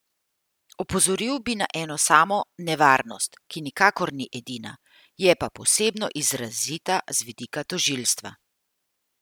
Opozoril bi na eno samo nevarnost, ki nikakor ni edina, je pa posebno izrazita z vidika tožilstva.